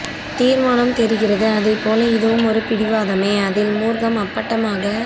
தீர்மானம் தெரிகிறது அதை போல இதுவும் ஒரு பிடிவாதமே அதில் மூர்க்கம் அப்பட்டமாக